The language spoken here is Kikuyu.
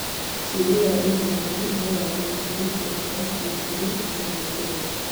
Cumbĩ wa iria-inĩ nowagĩrithie kũruta gĩkũri na gwĩthua